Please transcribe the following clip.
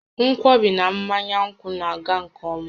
Nkwọbi na mmanya nkwụ na-aga nke ọma